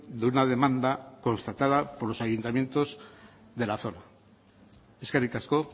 de una demanda constatada por los ayuntamientos de la zona eskerrik asko